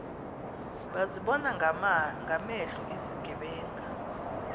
bazibona ngamehlo izigebenga